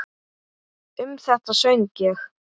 Um þetta söng ég